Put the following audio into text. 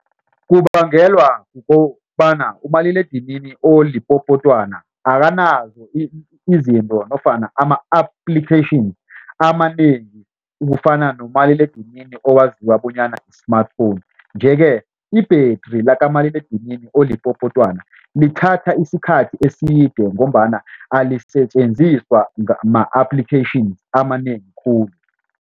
Kubangelwa kukobana umaliledinini olipopotwana akanazo izinto nofana ama-application amanengi ukufana nomaliledinini owaziwa bonyana yi-smartphone nje ke ibhetri lakamaliledinini olipopotwana lithatha isikhathi eside ngombana alisetjenziswa ma-applications amanengi khulu.